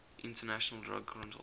international drug control